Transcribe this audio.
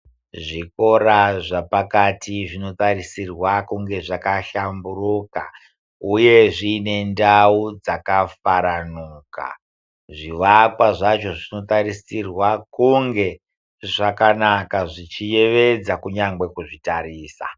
Zvikora zvepakati zvinotarisirwa kunge zvakahlamburuka uye zviine ndau dzakafaranuka. Zvivakwa zvacho zvinotarisirwa kunge zvakanaka zvichiyevedza kunyangwe kuzvitarisa.